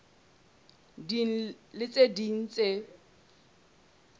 ding le tse ding tse